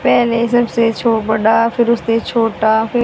पहले सबसे छो बड़ा फिर उससे छोटा फि--